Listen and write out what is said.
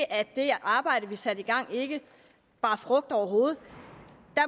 at det arbejde vi satte i gang ikke bar frugt overhovedet